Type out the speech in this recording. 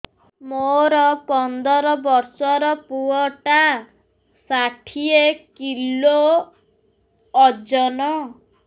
ମୋର ପନ୍ଦର ଵର୍ଷର ପୁଅ ଟା ଷାଠିଏ କିଲୋ ଅଜନ